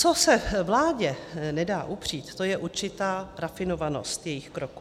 Co se vládě nedá upřít, to je určitá rafinovanost jejích kroků.